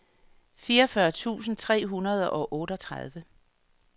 fireogfyrre tusind tre hundrede og otteogtredive